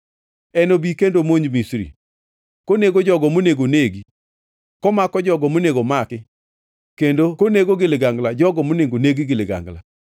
Enobi kendo omonj Misri, konego jogo monego negi, komako jogo monego maki, kendo konego gi ligangla jogo monego negi gi ligangla.